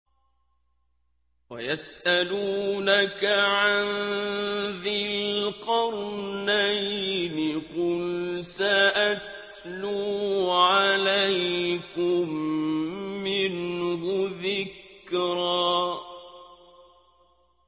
وَيَسْأَلُونَكَ عَن ذِي الْقَرْنَيْنِ ۖ قُلْ سَأَتْلُو عَلَيْكُم مِّنْهُ ذِكْرًا